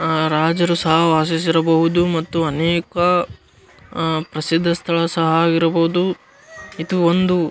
ಅಹ್ ರಾಜರು ಸಹ ವಾಸಿಸಿರಬಹುದು ಮತ್ತು ಅನೇಕ ಅಹ್ ಪ್ರಸಿದ್ಧ ಸ್ಥಳ ಸಹ ಆಗಿರಬಹುದು ಇದು ಒಂದು.